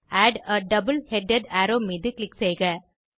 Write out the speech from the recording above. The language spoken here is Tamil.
add a double headed arrow மீது க்ளிக் செய்க